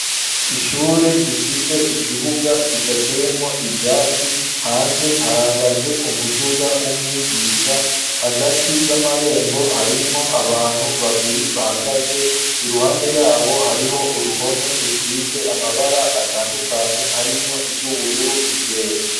Ishure rifise ikibuga kidateyemwo ivyatsi hanze hahagaze umuduga w'umwigisha hagati y'amarembo harimwo abantu babiri bahagaze iruhande yabo hariho uruhome rusize amabara atandukanye harimwo iryubururu n'iryera.